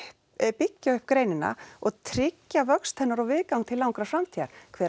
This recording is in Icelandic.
byggja upp greinina og tryggja vöxt hennar og viðgang til langrar framtíðar hver á